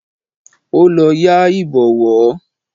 Ó lọ yá Ìbọ̀wọ́